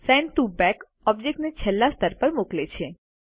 send to back ઓબ્જેક્ટને છેલ્લા સ્તર પર મોકલે છે